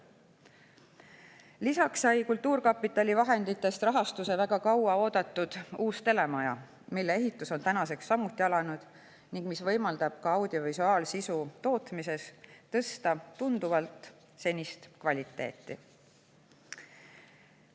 Lisaks sai kultuurkapitali vahenditest rahastuse väga kaua oodatud uus telemaja, mille ehitus on tänaseks samuti alanud ning mis võimaldab ka audiovisuaalsisu tootmises tunduvalt kvaliteeti.